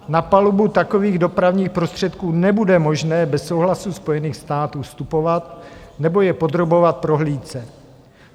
Na palubu takových dopravních prostředků nebude možné bez souhlasu Spojených států vstupovat nebo je podrobovat prohlídce.